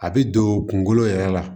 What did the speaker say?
A bɛ don kungolo yɛrɛ la